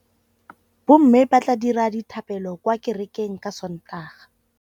Bommê ba tla dira dithapêlô kwa kerekeng ka Sontaga.